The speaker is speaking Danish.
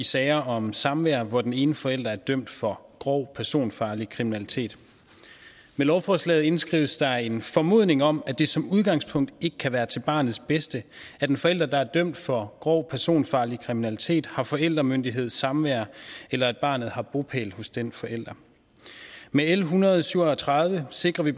i sager om samvær hvor den ene forælder er dømt for grov personfarlig kriminalitet med lovforslaget indskrives der en formodning om at det som udgangspunkt ikke kan være til barnets bedste at en forælder der er dømt for grov personfarlig kriminalitet har forældremyndighed samvær eller at barnet har bopæl hos den forælder med l en hundrede og syv og tredive sikrer vi